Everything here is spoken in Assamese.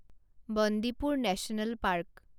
Bandipur national park